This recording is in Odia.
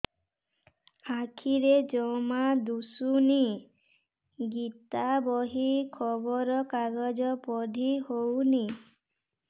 ଆଖିରେ ଜମା ଦୁଶୁନି ଗୀତା ବହି ଖବର କାଗଜ ପଢି ହଉନି